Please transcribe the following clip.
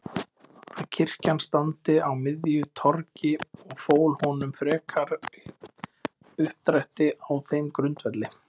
að kirkjan standi á miðju torgi og fól honum frekari uppdrætti á þeim grundvelli